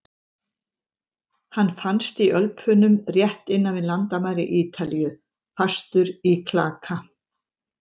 Hann fannst í Ölpunum rétt innan við landamæri Ítalíu, fastur í klaka.